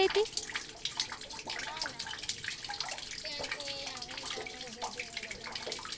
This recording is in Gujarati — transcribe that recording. ત્યાંતી જીજુ ને બધા અમે